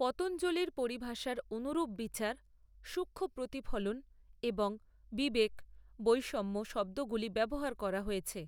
পতঞ্জলির পরিভাষার অনুরূপ বিচার সূক্ষ্ম প্রতিফলন এবং বিবেক বৈষম্য শব্দগুলি ব্যবহার করা হয়েছে,